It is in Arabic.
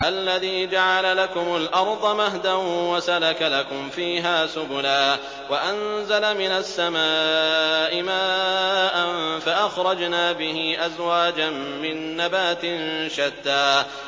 الَّذِي جَعَلَ لَكُمُ الْأَرْضَ مَهْدًا وَسَلَكَ لَكُمْ فِيهَا سُبُلًا وَأَنزَلَ مِنَ السَّمَاءِ مَاءً فَأَخْرَجْنَا بِهِ أَزْوَاجًا مِّن نَّبَاتٍ شَتَّىٰ